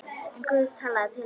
En Guð talaði til hennar.